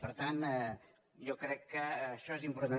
per tant jo crec que això és important